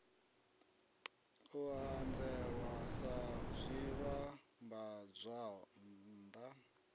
u ṱanzielwa sa zwivhambadzwann a